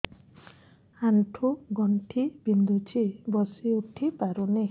ଆଣ୍ଠୁ ଗଣ୍ଠି ବିନ୍ଧୁଛି ବସିଉଠି ପାରୁନି